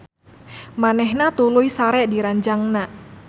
Manehna tuluy sare di ranjangna.